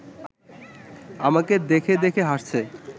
আমাকে দেখে দেখে হাসছে